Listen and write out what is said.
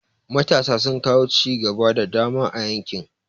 Matasa sun kawo cigaba da dama a yankin.